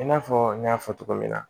I n'a fɔ n y'a fɔ cogo min na